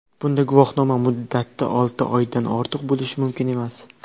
Bunda guvohnoma muddati olti oydan ortiq bo‘lishi mumkin emas.